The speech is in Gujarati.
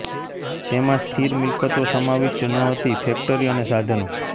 તેમાં સ્થિર મિલકતો સમાવિષ્ટ ન હતી ફેક્ટરી અને સાધનો